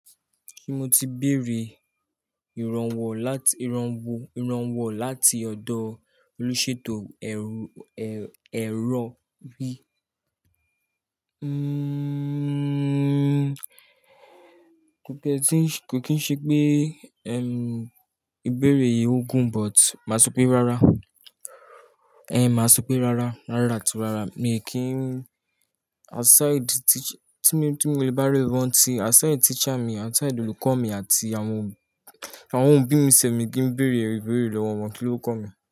Kí mo ti bèrè ìrànwọ́ láti, ìranwọ ìrànwọ láti ọ̀dọ̀ olúṣètò ẹ̀rọ bí? Nnn kò kì í ṣe pé ẹm, ìbéèrè yìí ó gùn, but màá sọ pé rárá. Ẹn, màá sọ pé rárá, rárá àti rárá. Mi ò kì ín, outside teacher, tí mo ti bá rárá mọ́ ti, outside teacher mi, outside olùkọ́ mi àti won àwọn òbí mi sẹ̀ mi kí ń bèèrè ìbéèrè lọ́wọ́ wọn. Kíló kan mi?